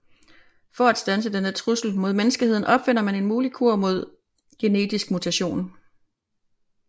For at standse denne trussel mod menneskeheden opfinder man en mulig kur mod genetisk mutation